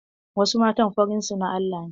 Wasu matan farin su na Allah ne.